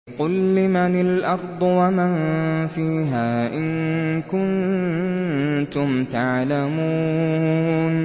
قُل لِّمَنِ الْأَرْضُ وَمَن فِيهَا إِن كُنتُمْ تَعْلَمُونَ